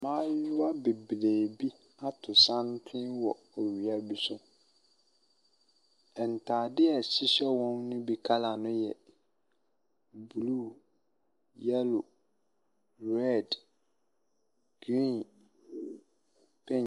Mmayewa bebree bi ato santene wɔ owia bi so. Ntadeɛ a ɛhyehyɛ wɔn no bi colour no yɛ blue, yellow, red, green, pink.